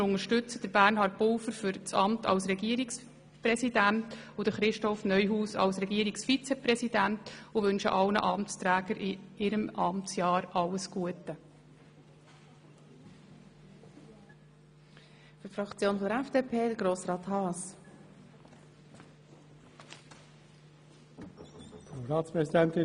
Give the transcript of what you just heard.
Wir unterstützen Bernhard Pulver für das Amt des Regierungspräsidenten und Christoph Neuhaus für dasjenige des Regierungsvizepräsidenten und wüschen allen Amtsträgern in ihrem Amtsjahr alles Gute.